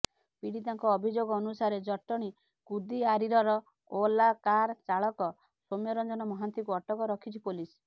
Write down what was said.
ପୀଡ଼ିତାଙ୍କ ଅଭିଯୋଗ ଅନୁସାରେ ଜଟଣୀ କୁଦିଆରୀରର ଓଲା କାର୍ ଚାଳକ ସୌମ୍ୟରଞନ ମହାନ୍ତିଙ୍କୁ ଅଟକ ରଖିଛି ପୋଲିସ